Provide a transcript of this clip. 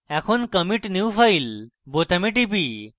এখন commit new file বোতামে টিপি